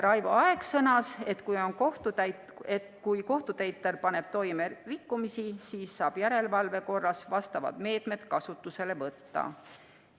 Raivo Aeg sõnas, et kui kohtutäitur paneb toime rikkumisi, siis saab järelevalve korras vastavad meetmed kasutusele võtta.